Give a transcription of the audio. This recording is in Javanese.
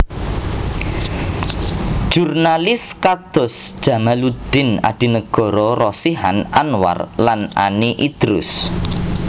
Jurnalis kados Djamaluddin Adinegoro Rosihan Anwar lan Ani Idrus